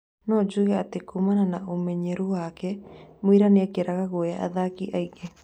" No njuge atĩ, kuumana na ũmenyeru wake Miura niekĩraga guoya athaki aingĩ.